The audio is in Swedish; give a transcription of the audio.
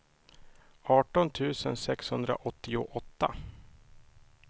arton tusen sexhundraåttioåtta